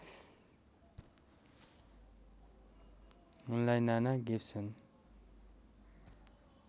उनलाई नाना गिब्सन